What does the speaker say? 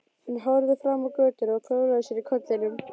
Hann horfði fram á götuna og klóraði sér í kollinum.